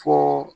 Fo